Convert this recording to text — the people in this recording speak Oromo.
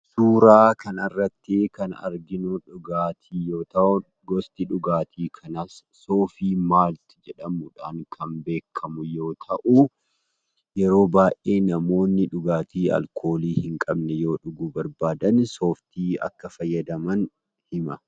Suuraa kanarrattii kan arginu dhugaatii yoo ta'u gosti dhugaatii kanaas "SOFI MALT" jedhamuudhaan kan beekkamu yoo ta'uu yeroo baay'ee namoonni dhugaatii alkoolii hin qabne yoo dhuguu barbaadan sooftii akka fayyadaman hima.